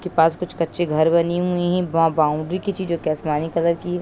के पास कुछ कच्चे घर बनी हुई हैं वहाँ बाउंड्री की आसमानी कलर (color) की --